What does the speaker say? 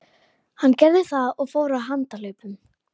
Hann gerði það og fór á handahlaupum.